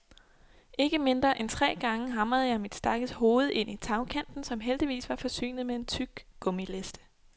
Ikke mindre end tre gange hamrede jeg mit stakkels hoved ind i tagkanten, som heldigvis var forsynet med en tyk gummiliste.